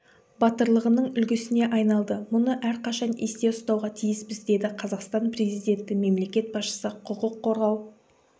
батырлығының үлгісіне айналды мұны әрқашан есте ұстауға тиіспіз деді қазақстан президенті мемлекет басшысы құқық қорғау